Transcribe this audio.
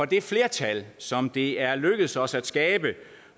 det flertal som det er lykkedes os at skabe